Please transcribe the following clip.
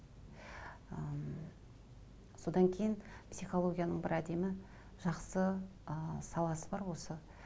м содан кейін психологияның бір әдемі жақсы ы саласы бар осы